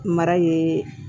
Mara ye